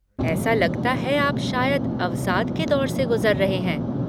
ऐसा लगता है आप शायद अवसाद के दौर से गुज़र रहे हैं।